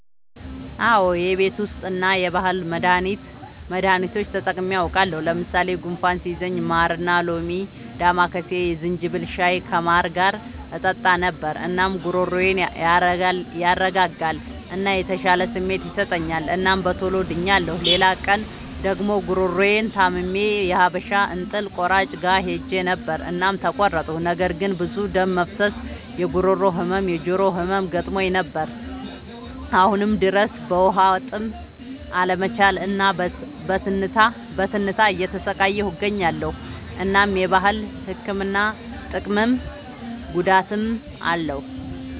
አዎ የቤት ዉስጥ እና የባህል መዳኒቶች ተጠቅሜ አዉቃለሁ። ለምሳሌ፦ ጉንፋን ሲይዘኝ ማርና ሎሚ፣ ዳማከሴ፣ የዝንጅብል ሻይ ከማር ጋር እጠጣ ነበር። እናም ጉሮሮዬን ያረጋጋል እና የተሻለ ስሜት ይሰጠኛል እናም በቶሎ ድኛለሁ። ሌላ ቀን ደግሞ ጉሮሮየን ታምሜ የሀበሻ እንጥል ቆራጭ ጋር ሄጀ ነበር እናም ተቆረጥኩ። ነገር ግን ብዙ ደም መፍሰስ፣ የጉሮሮ ህመም፣ የጆሮ ህመም ገጥሞኝ ነበር። አሁንም ድረስ በዉሀጥም አለመቻል እና በትንታ እየተሰቃየሁ እገኛለሁ። እናም የባህል ህክምና ጥቅምም ጉዳትም አለዉ።